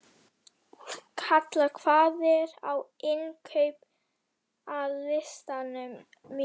Kalla, hvað er á innkaupalistanum mínum?